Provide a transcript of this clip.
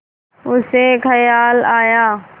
उसे ख़याल आया